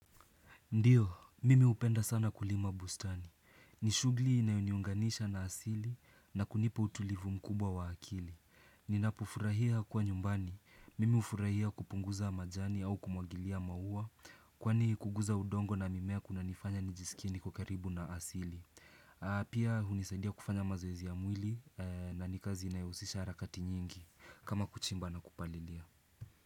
Ndiyo, mimi hupenda sana kulima bustani. Nishughuli inayoniunganisha na asili na kunipa utulivu mkubwa wa akili. Ninapufurahia kuwa nyumbani. Mimi ufurahia kupunguza majani au kumwagilia maua kwani kuguza udongo na mimea kuna nifanya nijisikie niko karibu na asili. Pia hunisadia kufanya mazoezi ya mwili na nikazi inayohusisha harakati nyingi kama kuchimba na kupalilia.